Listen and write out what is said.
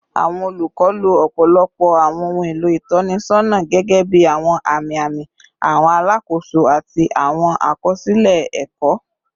Awọn olukọ lo ọpọlọpọ awọn ohun elo itọnisọna gẹgẹbi awọn ami-ami, awọn alakoso, ati awọn akọsilẹ ẹkọ